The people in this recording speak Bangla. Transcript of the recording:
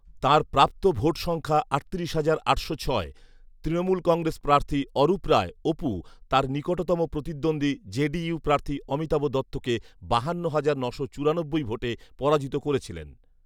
তাঁর প্রাপ্ত ভোট সংখ্যা আটত্রিশ হাজার আটশো ছয়৷ তৃণমূল কংগ্রেস প্রার্থী অরূপ রায়, অপু তাঁর নিকটতম প্রতিদ্বন্দ্বী জেডিইউ প্রার্থী অমিতাভ দত্তকে বাহান্ন হাজার নশো চুরানব্বই ভোটে পরাজিত করেছিলেন